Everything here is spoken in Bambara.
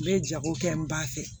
N bɛ jago kɛ n ba fɛ